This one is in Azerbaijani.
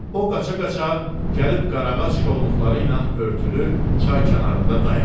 O qaça-qaça gəlib qaraağac kolluqları ilə örtülü çay kənarında dayandı.